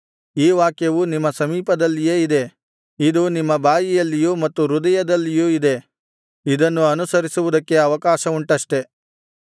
ಈ ವಾಕ್ಯವು ನಿಮ್ಮ ಸಮೀಪದಲ್ಲಿಯೇ ಇದೆ ಇದು ನಿಮ್ಮ ಬಾಯಲ್ಲಿಯೂ ಮತ್ತು ಹೃದಯದಲ್ಲಿಯೂ ಇದೆ ಇದನ್ನು ಅನುಸರಿಸುವುದಕ್ಕೆ ಅವಕಾಶವುಂಟಷ್ಟೆ